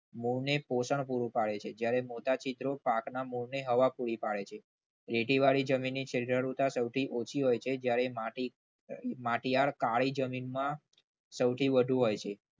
મૂળને પોષણ પૂરું પાડે છે જ્યારે મોટા છિદ્રો પાકને હવા પૂરી પાડે છે. ખેતીવાડી જમીનની છિદ્ર રૂઢતા સૌથી ઓછી હોય છે જ્યારે જ્યારે માટી માટીયાળ કાળી જમીનમાં સૌથી વધુ હોય છે.